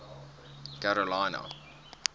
karolina